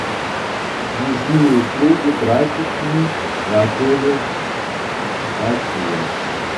нужны услуги прачечной в отеле россия